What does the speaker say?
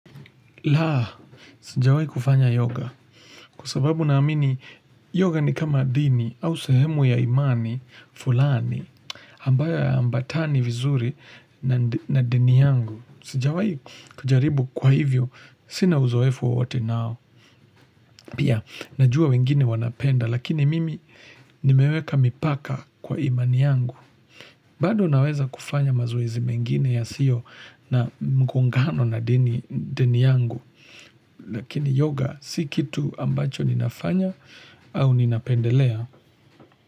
Laa, sija wei kufanya yoga, kusababu naamini yoga ni kama dini au sehemu ya imani fulani, ambayo ya ambatani vizuri na dini yangu. Sijawai kujaribu kwa hivyo, sina uzoefu wowote nao. Pia, najua wengine wanapenda, lakini mimi nimeweka mipaka kwa imani yangu. Bado naweza kufanya mazoezi mengine ya sio na mgungano na dini yangu. Lakini yoga si kitu ambacho ninafanya au ninapendelea.